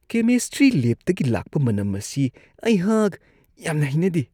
Chemistry ꯂꯦꯕꯇꯒꯤ ꯂꯥꯛꯄ ꯃꯅꯝ ꯑꯁꯤ ꯑꯩꯍꯥꯛ ꯌꯥꯝꯅ ꯍꯩꯅꯗꯦ ꯫